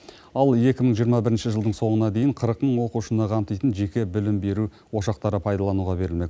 ал екі мың жиырма бірінші жылдың соңына дейін қырық мың оқушыны қамтитын жеке білім беру ошақтары пайдалануға берілмек